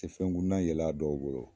Te fɛnkuntan yela a dɔw bolo